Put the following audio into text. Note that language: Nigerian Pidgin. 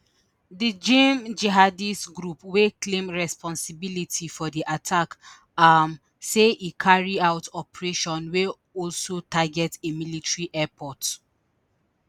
di jnim jihadist group wey claim responsibility for di attack um say e carry out operation wey also target a military airport